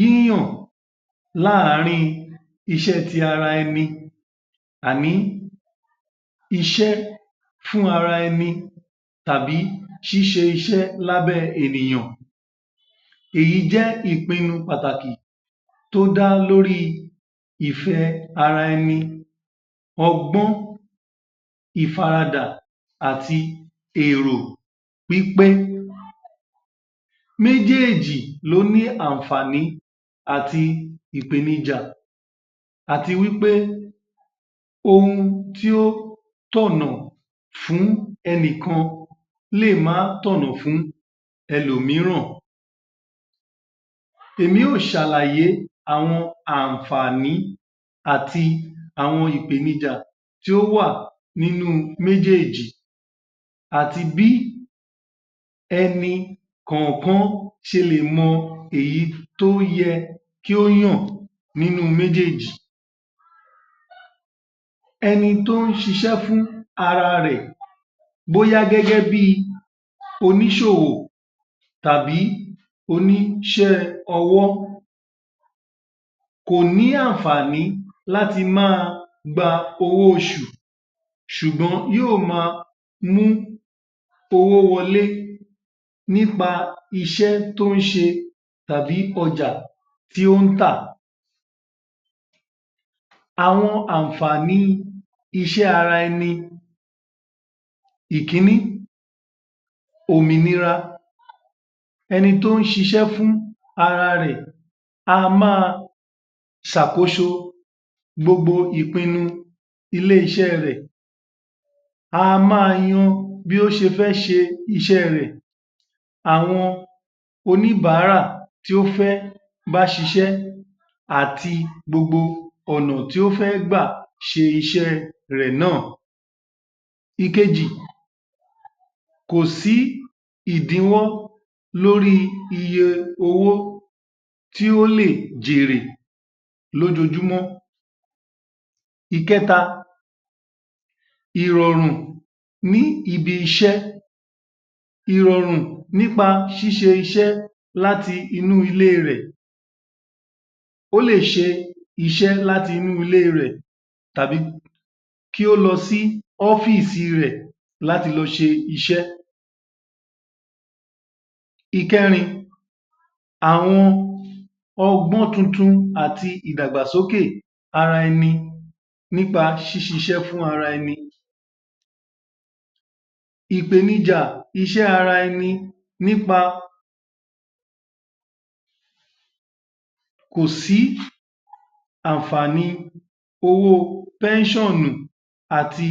Yíyàn láàárín iṣẹ́ tí ara ẹni. Iṣẹ́ fún ara ẹni tàbí ṣíṣẹ iṣẹ́ lábẹ́ ènìyàn. Èyí jẹ́ ìpinnu pàtàkì tó dá lóri ìfẹ́ ara ẹni, ọgbọ́n, ìfaradà àti èrò wí pé méjèèjì ló ní àǹfààní àti ìpènijà. Àti wí pé ohun tí ó tọ̀nà fún ẹnikan lè máa tọ̀nà fún èlòmíràn. Èmi ó ṣàlàyé àwọn àǹfààní àti àwọn ìpènijà tí ó wà nínú méjèèjì àti bí ẹni kọ̀ọ̀kan ṣe lè mọ èyí tí ó yẹ kí ó yàn nínú méjèèjì. Ẹni tí ó ń ṣiṣẹ́ fún ara rẹ̀ bóyá gẹ́gẹ́ bí oníṣòwò tàbí oníṣẹ́-ọwọ́ kò ní àǹfààní láti máa gba owó oṣù ṣúgbọ̀n yóò máa mú owó wọlé nípa iṣẹ́ tí ó ń ṣe tàbí ọjà tí ó tà. Àwọn àǹfààní iṣẹ́ ara ẹni: Ìkíní. Òmìnira Ẹni tí ó ń ṣiṣẹ́ fún ara rẹ̀ á máa ṣàkóso gbogbo ìpinnu ilé-iṣẹ́ rẹ̀, a máa yan án bí o ṣe fẹ́ ṣe iṣẹ́ rẹ̀. Àwọn oníbàárà tí ó fẹ́ bá ṣiṣẹ́ àti gbogbo ọ̀nà tí ó fẹ́ gbà ṣe iṣẹ́ rẹ̀ náà. Ìkẹjì. Kò sí ìdínwọ́ lórí iyẹ owó tí ó lè jèrè lójoojúmó. Ìkẹta. Ìrọ̀rùn níbi iṣẹ́, ìrọ̀rùn nípa ṣíṣẹ iṣẹ́ láti nínú ilé rẹ̀. Ó lè ṣe iṣẹ́ láti inú ilé rẹ̀ tàbí kí o lọ sí ọfíìsì rẹ̀ láti lọ ṣe iṣẹ́. Ìkẹrin. Àwọn ọgbọ́n tuntun àti ìdàgbàsókè ara ẹni nípa ṣíṣiṣẹ́ fún ara ẹni. Ìpènijà iṣẹ́ ara ẹni nípa kò sí àǹfààní owó pẹ́ṣọ̀nì àti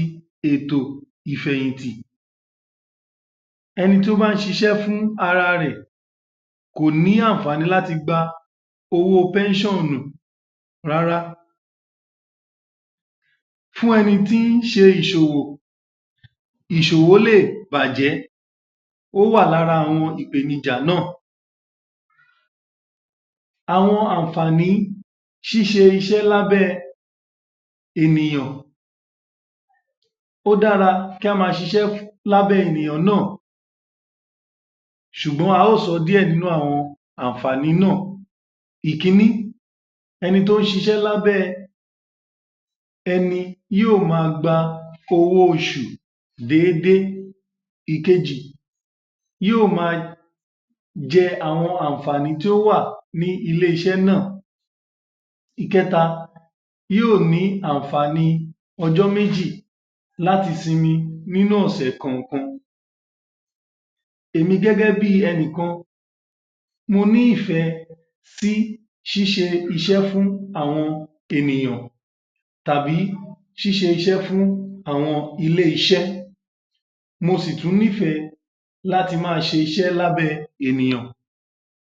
ètò ìfẹ̀yìn tì. Ẹni tí ó bá ń ṣiṣẹ́ fún ara rẹ̀ kò ní àǹfààní láti gba owó pẹ́ṣọ̀nì rárá. Fún ẹni tí ṣe ìṣòwò, ìṣòwò lè bàjẹ́. Ó wà lára àwọn ìpènijà náà. Àwọn àǹfààní ṣíṣẹ iṣẹ́ lábẹ́ ènìyàn. O dára kí a máa ṣiṣẹ́ lábẹ́ ènìyàn náà ṣùgbọ́n a ó sọ díẹ̀ nínú àwọn àǹfààní náà Ìkíní. Ẹni tó ṣiṣẹ́ lábẹ́ ẹni yóò máa gba owó oṣù déédé. Ìkejì. Yóò máa jẹ àwọn àǹfààní tí ó wà ní ilé-iṣẹ́ náà. Ìkẹta. Yóò ní àǹfààní ọjọ́ méjì láti simi nínú ọ̀sẹ̀ kànkan Èmi gẹ́gẹ́ bí ẹni kan mo nífẹ̀ẹ́ sí ṣíṣe iṣẹ́ fún àwọn ènìyàn tàbí ṣíṣe iṣẹ́ fún àwọn ilé-iṣẹ́. Mò sì tún nífẹ̀ẹ́ láti máa ṣe iṣẹ́ lábẹ́ ènìyàn.